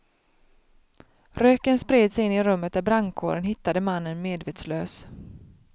Röken spred sig in i rummet där brandkåren hittade mannen medvetslös.